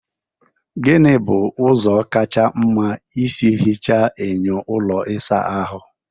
Gịnị bụ ụzọ kacha mma isi hichaa enyo ụlọ ịsa ahụ?